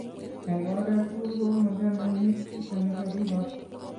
Eng oret tugul ko machame Nick kito nigakigoch